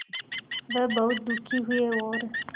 वह बहुत दुखी हुए और